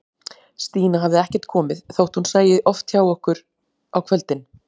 Stína hafði ekkert komið, þótt hún sæti oft hjá okkur á kvöldin.